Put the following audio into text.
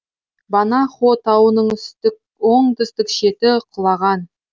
банахо тауының оңтүстік шеті құлаған